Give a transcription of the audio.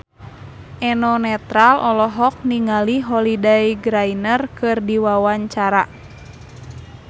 Eno Netral olohok ningali Holliday Grainger keur diwawancara